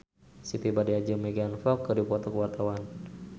Siti Badriah jeung Megan Fox keur dipoto ku wartawan